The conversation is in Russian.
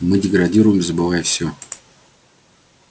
мы деградируем забывая всё